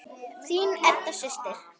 Þín Edda systir.